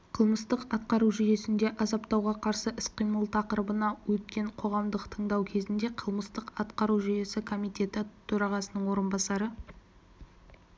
қылмыстық-атқару жүйесінде азаптауға қарсы іс-қимыл тақырыбында өткен қоғамдық тыңдау кезінде қылмыстық-атқару жүйесі комитеті төрағасының орынбасары